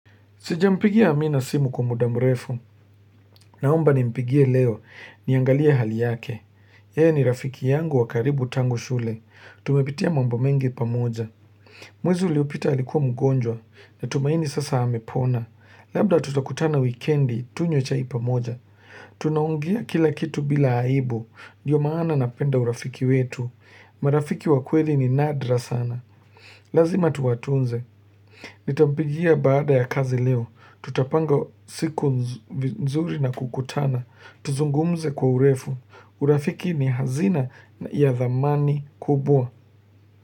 Sijampigia amina simu kwa muda mrefu, naomba nimpigie leo, niangalie hali yake. Yeye ni rafiki yangu wa karibu tangu shule, tumepitia mambo mengi pamoja. Mwezi uliopita alikuwa mgonjwa, natumaini sasa amepona, labda tutakutana wikendi, tunywe chai ipamoja. Tunaongea kila kitu bila aibu, ndiyo maana napenda urafiki wetu, marafiki wa kweli ni nadra sana. Lazima tuwatunze Nitampigia baada ya kazi leo Tutapanga siku nzuri na kukutana Tuzungumze kwa urefu urafiki ni hazina ya dhamani kubwa.